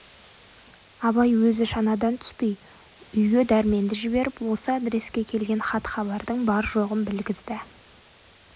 абай өзі шанадан түспей үйге дәрменді жіберіп осы адреске келген хат-хабардың бар-жоғын білгізді